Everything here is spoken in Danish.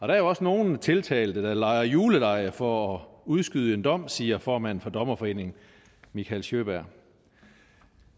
der er også nogle tiltalte der lejer julelege for at udskyde en dom siger formanden for dommerforeningen mikael sjöberg